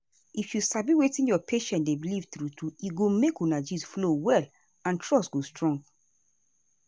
if you sabi wetin your patient dey believe true true e go make una gist flow well and trust go strong.